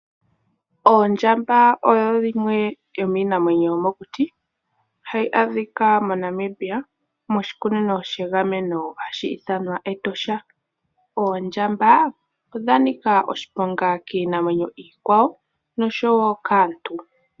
Ondjamba oyo yimwe yomiinamwenyo yomokuti hayi adhika moNamibia moshikunino shegameno Etosha. Ondjamba odha nika oshiponga kiinamwenyo iikwawo noshowo kaantu.